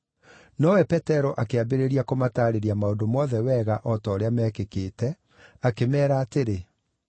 Nowe Petero akĩambĩrĩria kũmataarĩria maũndũ mothe wega o ta ũrĩa meekĩkĩte, akĩmeera atĩrĩ: